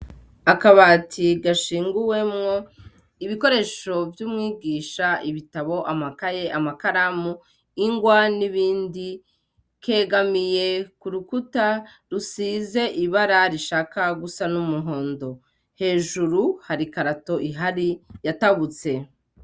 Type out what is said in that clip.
Akabati gashinguwemwo ibikoresho vy'umwigisha ibitabo amakaye amakaramu ingwa n'ibindi kegamiye ku rukuta rusize ibara rishaka gusa n'umuhondo hejuru harikarato ihari yatabutse.